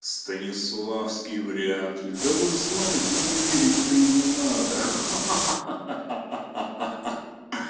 станиславский вряд ли да вы знаете мне верить то и не надо ха-ха